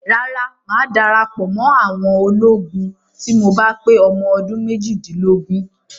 Rárá, mà á darapọ̀ mọ́ àwọn ọmọ ológun tí mo bá pé ọmọ ọdún méjìdínlógún.